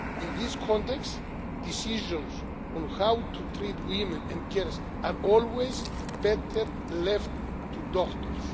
In this context, decisions on how to treat women and girls are always better left to doctors.